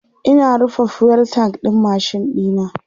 Ina rufe fuel tank ɗin machine ɗina